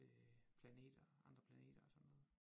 Øh planeter andre planeter og sådan noget